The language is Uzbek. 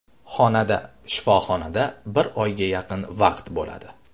Xonada shifoxonada bir oyga yaqin vaqt bo‘ladi.